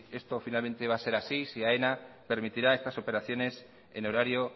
esto finalmente va a ser así si aena permitirá estas operaciones en horario